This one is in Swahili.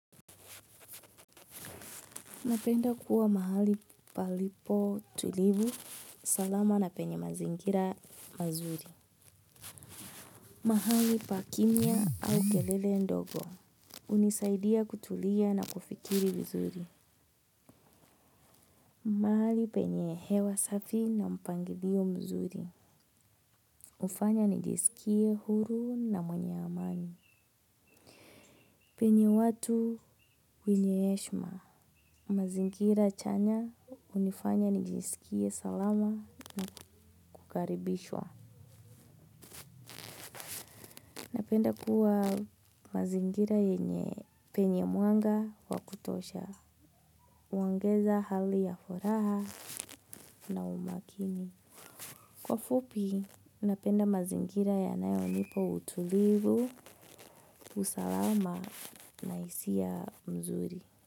Napenda kuwa mahali palipotulivu, salama na penye mazingira mazuri. Mahali pa kimya au kelele ndogo. Hunisaidia kutulia na kufikiri vizuri. Mahali penye hewa safi na mpangilio mzuri. Hufanya nijisikie huru na mwenye amani. Penye watu wenye heshima. Mazingira chanya, hunifanya nijisikie salama na kukaribishwa. Napenda kuwa mazingira penye mwanga wa kutosha. Kwa ufupi, napenda mazingira yanayonipa utulivu, usalama na hisia nzuri.